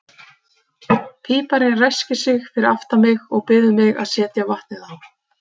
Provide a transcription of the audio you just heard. Píparinn ræskir sig fyrir aftan mig og biður mig að setja vatnið á.